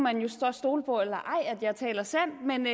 stole på eller ej at jeg taler sandt